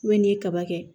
n'i ye kaba kɛ